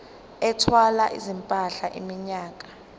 ethwala izimpahla iminyaka